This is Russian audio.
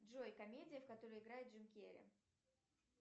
джой комедия в которой играет джим керри